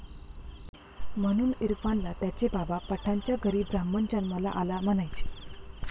...म्हणून इरफानला त्याचे बाबा, पठाणाच्या घरी ब्राह्मण जन्माला आला म्हणायचे